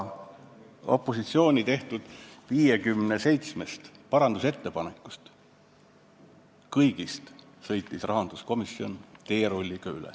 Ja opositsiooni tehtud 57 parandusettepanekust sõitis rahanduskomisjon kõigist teerullina üle.